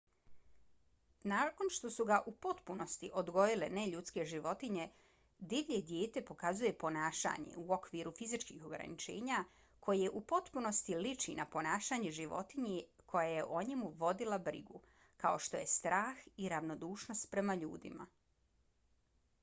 nakon što su ga u potpunosti odgojile neljudske životinje divlje dijete pokazuje ponašanje u okviru fizičkih ograničenja koje u potpunosti liči na ponašanje životinje koja je o njemu vodila brigu kao što je strah i ravnodušnost prema ljudima